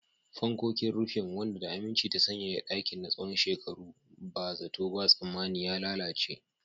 Fankokin rufin, wanda da aminci ta sanyaya ɗakin na tsawon shekaru, ba zato ba tsammani ya lalace.